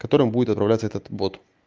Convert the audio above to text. которым будет отправляться этот бот